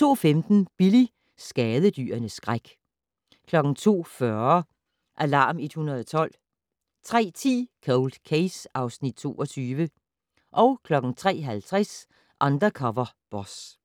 02:15: Billy - skadedyrenes skræk 02:40: Alarm 112 03:10: Cold Case (Afs. 22) 03:50: Undercover Boss